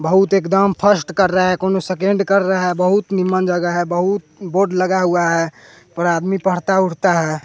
बहुत एकदम फर्स्ट कर रहा है कोनो सेकंड कर रहा है बहुत निमम्न जगह है बहुत बोर्ड लगा हुआ है पर आदमी पढ़ता उढ़ता है।